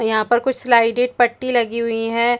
यहाँ पर कुछ स्लाइडेड पट्टी लगी हुई है।